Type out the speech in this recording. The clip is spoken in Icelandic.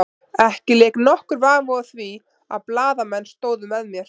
Ekki lék nokkur vafi á því að blaðamenn stóðu með mér.